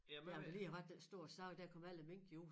Der har lige har været den store sag der kom alle mink jo ud